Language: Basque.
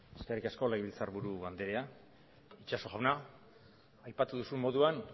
eskerrik asko legebiltzar buru andrea itxaso jauna aipatu duzun moduan